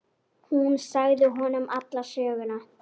Ég horfi niður fyrir mig.